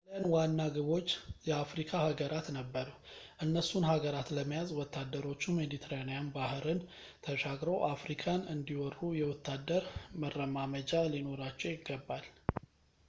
የጣሊያን ዋና ግቦች የአፍሪካ ሃጋራት ነበሩ እነሱን ሃገራት ለመያዝ ወታደሮቹ ሜዲትራኒያን ባህርን ተሻግረው አፍሪካን እንዲወሩ የወታደር መረማመጃ ሊኖራቸው ይገባል